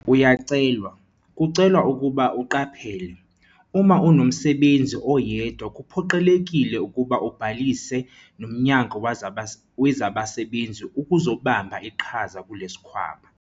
Uyacelwa, kucelwa ukuba uqaphele, uma unomsebenzi oyedwa kuphoqelekile ukuba ubhalise noMnyango wezaBasebenzi ukuzobamba iqhaza kule sikhwama.